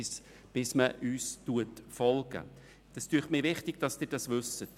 Es scheint mir wichtig, dass Sie das wissen.